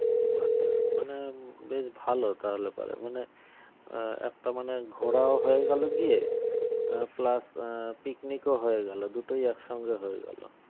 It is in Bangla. আচ্ছা মানে বেশ ভালো তাহলে পরে মানে আহ একটা মানেঘোরাও হয়ে গেল গিয়ে আহ plus picnic ও হয়ে গেল দুটোই একসঙ্গে হয়ে গেল